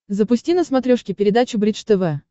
запусти на смотрешке передачу бридж тв